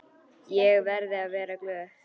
Ég verði að vera glöð.